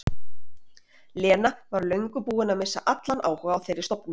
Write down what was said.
Lena var löngu búin að missa allan áhuga á þeirri stofnun.